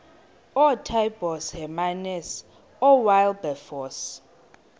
ootaaibos hermanus oowilberforce